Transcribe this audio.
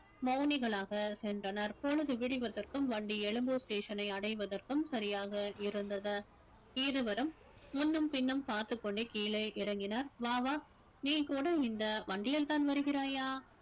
மௌனிகளாக சென்றனர் பொழுது விடிவதற்கும் வண்டி எழும்பூர் station ஐ அடைவதற்கும் சரியாக இருந்தது இருவரும் முன்னும் பின்னும் பார்த்துக் கொண்டே கீழே இறங்கினர் வா வா நீ கூட இந்த வண்டியில்தான் வருகிறாயா